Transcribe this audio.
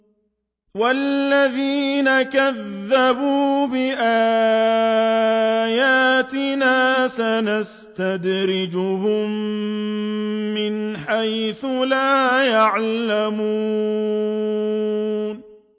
وَالَّذِينَ كَذَّبُوا بِآيَاتِنَا سَنَسْتَدْرِجُهُم مِّنْ حَيْثُ لَا يَعْلَمُونَ